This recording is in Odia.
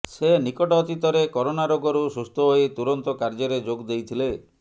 ସେ ନିକଟ ଅତୀତରେ କରୋନା ରୋଗରୁ ସୁସ୍ଥ ହୋଇ ତୁରନ୍ତ କାର୍ଯ୍ୟରେ ଯୋଗ ଦେଇଥିଲେ